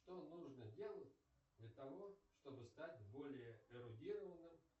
что нужно делать для того чтобы стать более эрудированным